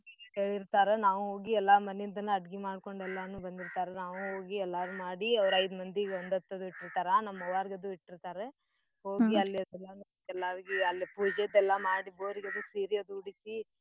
ಕೇಳಿರ್ತಾರ ನಾವ್ ಹೋಗಿ ಎಲ್ಲಾ ಮನಿಯಿಂದನ ಅಡ್ಗಿ ಮಾಡ್ಕೊಂಡ್ ಎಲ್ಲಾನೂ ಬಂದಿರ್ತಾರಾ ನಾವೂ ಹೋಗಿ ಎಲ್ಲಾರೂ ಮಾಡಿ ಅವ್ರ್ ಐದ್ ಮಂದಿಗ್ ಒಂದತ್ತದು ಇಟ್ಟಿರ್ತರಾ ನಮ್ ಅವ್ವಾರ್ಗ್ದು ಇಟ್ಟಿರ್ತಾರ ಅಲ್ಲೆ ಎಲ್ಲಾರ್ಗಿ ಅಲ್ಲೆ ಪೂಜೆದ್ ಎಲ್ಲಾ ಮಾಡಿ ಬೋರ್ ಗದು ಸೀರೀ ಅದು ಉಡ್ಸೀ